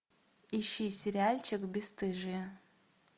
ищи сериальчик бесстыжие